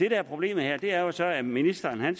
er problemet her er jo så at ministeren